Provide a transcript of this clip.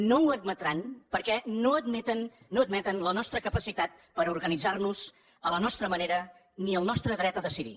no ho admetran perquè no admeten la nostra capacitat per organitzar nos a la nostra manera ni el nostre dret a decidir